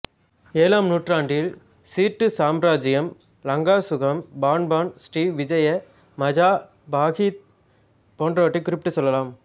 ஏழாம் நூற்றாண்டில் சீட்டு சாம்ராஜ்யம் லங்காசுகம் Pan Pan Srivijaya Majapahit போன்றவற்றைக் குறிப்பிட்டுச் சொல்லலாம்